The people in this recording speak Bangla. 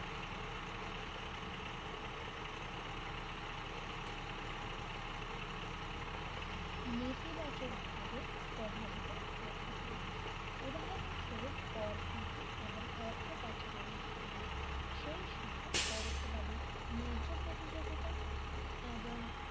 নীতিবাচকভাবে প্রভাবিত করতে পারে উদাহরণস্বরূপ কর ফাঁকি এবং অর্থ পাচারের মাধ্যমে সেই সাথে পরোক্ষভাবে ন্যায্য প্রতিযোগিতা এবং